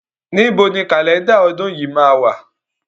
Níbo ni Kálẹ́ndà ọdún yìí máa wà?